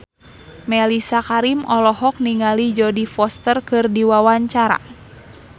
Mellisa Karim olohok ningali Jodie Foster keur diwawancara